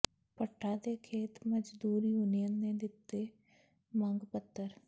ਭੱਠਾ ਤੇ ਖੇਤ ਮਜ਼ਦੂਰ ਯੂਨੀਅਨ ਨੇ ਦਿੱਤਾ ਮੰਗ ਪੱਤਰ